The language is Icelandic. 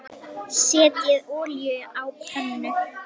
Setjið olíu á pönnu.